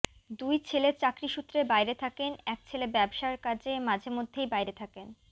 দুই ছেলে চাকরি সূত্রে বাইরে থাকেন এক ছেলে ব্যবসা কাজে মাঝে মধ্যেই বাইরে থাকেন